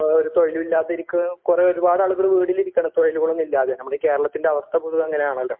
ഇപ്പോ ഒരു തൊഴിലും ഇല്ലാതെ ഇരിക്കുന്ന കുറെ ഒരുപാട് ആളുകൾ വീടിലിരിക്കണ്‌ തൊഴിലുകൾ ഒന്നുമില്ലാതെ നമ്മുടെ ഈ കേരളത്തിൻ്റെ അവസ്ഥ പൊതുവേ അങ്ങനെയാണല്ലോ?